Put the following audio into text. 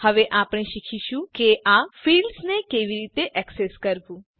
હવે આપણે શીખીશું કે આ ફિલ્ડ્સ ને કેવી રીતે એક્સેસ કરવું